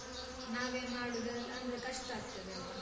ನಾವೇ ಮಾಡುದು ಅಹ್ ಅಂದ್ರೆ ಕಷ್ಟ ಆಗ್ತದಲ್ವಾ?